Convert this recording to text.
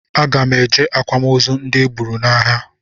Aga m eje akwamozu ndị e gburu n'agha